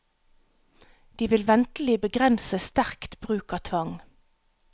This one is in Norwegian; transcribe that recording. De vil ventelig begrense sterkt bruk av tvang.